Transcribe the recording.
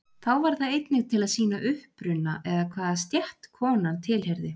Þá var það einnig til að sýna uppruna eða hvaða stétt konan tilheyrði.